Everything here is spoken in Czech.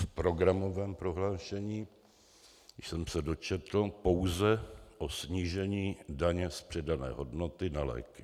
V programovém prohlášení jsem se dočetl pouze o snížení daně z přidané hodnoty na léky.